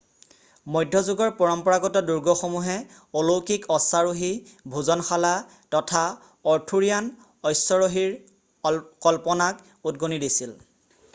মধ্যযুগৰ পৰম্পৰাগত দুৰ্গসমূহে অলৌকিক অশ্বাৰোহী ভোজনশালা তথা অৰ্থুৰিয়ান অস্যৰহীৰ কল্পনাক উদগনি দিছিল